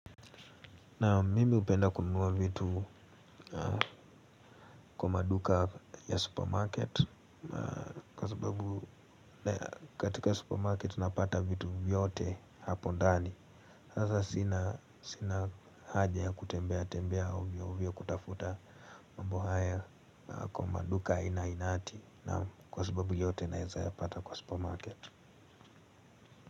Naam mimi hupenda kununua vitu kwa maduka ya supermarket. Kwa sababu katika supermarket tunapata vitu vyote hapo ndani. Sasa sina haja ya kutembea tembea ovyo ovyo kutafuta mambo haya kwa maduka ainainati. Naam kwa sababu yote naweza yapata kwa supermarket.